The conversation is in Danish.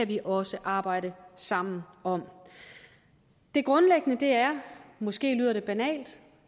vi også arbejde sammen om det grundlæggende er måske lyder det banalt